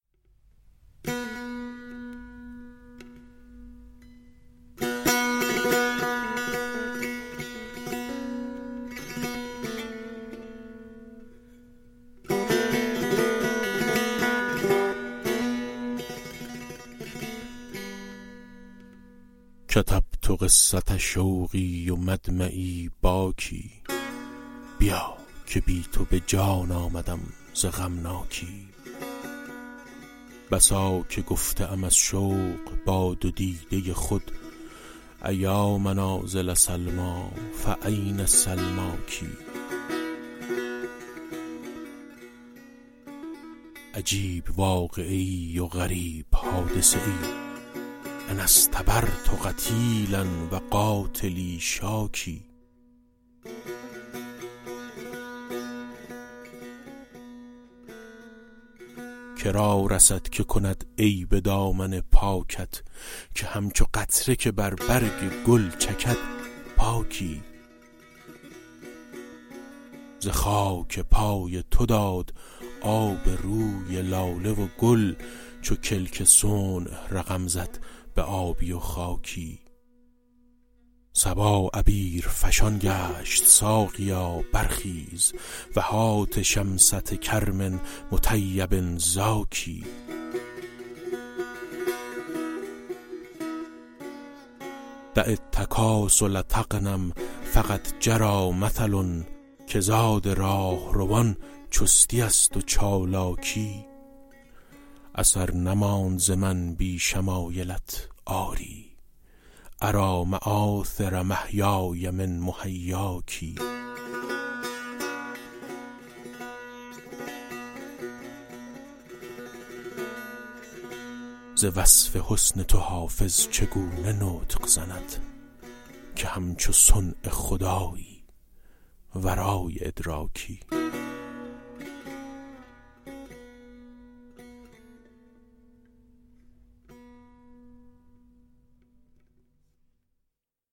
کتبت قصة شوقی و مدمعی باکی بیا که بی تو به جان آمدم ز غمناکی بسا که گفته ام از شوق با دو دیده خود أیا منازل سلمیٰ فأین سلماک عجیب واقعه ای و غریب حادثه ای أنا اصطبرت قتیلا و قاتلی شاکی که را رسد که کند عیب دامن پاکت که همچو قطره که بر برگ گل چکد پاکی ز خاک پای تو داد آب روی لاله و گل چو کلک صنع رقم زد به آبی و خاکی صبا عبیرفشان گشت ساقیا برخیز و هات شمسة کرم مطیب زاکی دع التکاسل تغنم فقد جری مثل که زاد راهروان چستی است و چالاکی اثر نماند ز من بی شمایلت آری أری مآثر محیای من محیاک ز وصف حسن تو حافظ چگونه نطق زند که همچو صنع خدایی ورای ادراکی